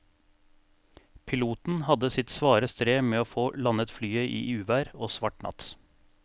Piloten hadde sitt svare strev med å få landet flyet i uvær og svart natt.